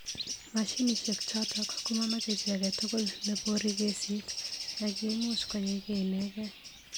Mashinishek chotok komomeche chi agetugul nebory kesit ak imuch koyaikei inekei.